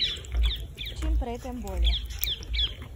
Čim prej, tem bolje.